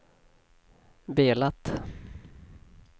velat